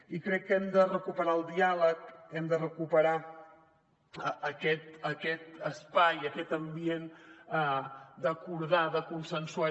i crec que hem de recuperar el diàleg hem de recuperar aquest espai aquest ambient d’acordar de consensuar